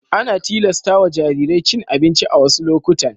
Ana tilasta wa jarirai cin abinci a wassu lokutan.